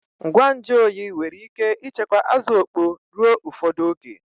Ngwa nju oyi nwere ike ichekwa Azu okpo ruo ufodu oge